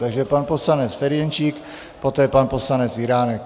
Takže pan poslanec Ferjenčík, poté pan poslanec Jiránek.